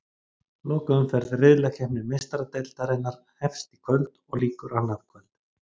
Lokaumferð riðlakeppni Meistaradeildarinnar hefst í kvöld og lýkur annað kvöld.